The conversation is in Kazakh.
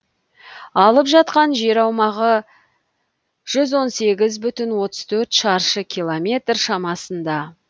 алып жатқан жер аумағы жүз он сегіз бүтін отыз төрт шаршы километр шамасында